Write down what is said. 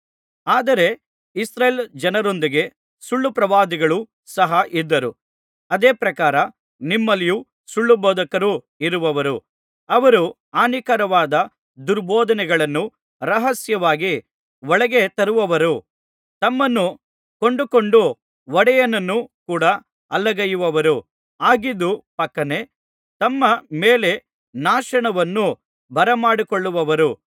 ಆದರೆ ಇಸ್ರಾಯೇಲ್ ಜನರೊಂದಿಗೆ ಸುಳ್ಳುಪ್ರವಾದಿಗಳೂ ಸಹ ಇದ್ದರು ಅದೇ ಪ್ರಕಾರ ನಿಮ್ಮಲ್ಲಿಯೂ ಸುಳ್ಳುಬೋಧಕರು ಇರುವರು ಅವರು ಹಾನಿಕರವಾದ ದುರ್ಬೋಧನೆಗಳನ್ನು ರಹಸ್ಯವಾಗಿ ಒಳಗೆತರುವವರೂ ತಮ್ಮನ್ನು ಕೊಂಡುಕೊಂಡ ಒಡೆಯನನ್ನೂ ಕೂಡ ಅಲ್ಲಗಳೆಯುವವರೂ ಆಗಿದ್ದು ಫಕ್ಕನೆ ತಮ್ಮ ಮೇಲೆ ನಾಶನವನ್ನು ಬರಮಾಡಿಕೊಳ್ಳುವರು